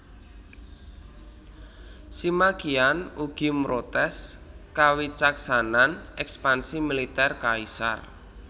Sima Qian ugi mrotès kawicaksanan ekspansi militèr kaisar